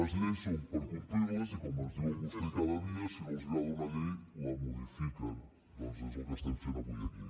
les lleis són per complir les i com ens diuen vostès cada dia si no els agrada una llei la modifiquen doncs és el que estem fent avui aquí